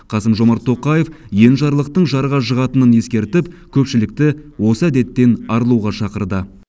қасым жомарт тоқаев енжарлықтың жарға жығатынын ескертіп көпшілікті осы әдеттен арылуға шақырды